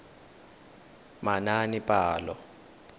manaanepalo